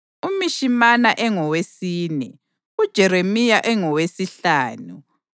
uMishimana engowesine, uJeremiya engowesihlanu,